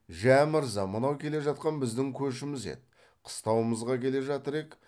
жә мырза мынау келе жатқан біздің көшіміз еді қыстауымызға келе жатыр ек